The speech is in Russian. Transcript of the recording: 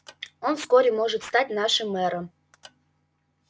он вскоре может стать нашим мэром